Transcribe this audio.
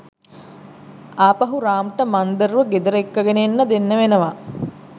ආපහු රාම්ට මන්දාර්ව ගෙදර එක්කගෙන එන්න වෙනවා.